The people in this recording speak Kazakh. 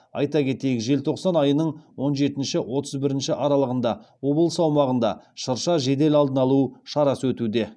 айта кетейік желтоқсан айының он жетінші отыз бірінші аралығында облыс аумағында шырша жедел алдын алу шарасы өтуде